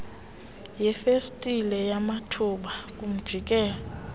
yefestile yamathuba kumjikelo